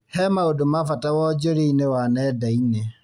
He maũndũ ma bata wonjoria-inĩ wa nenda-inĩ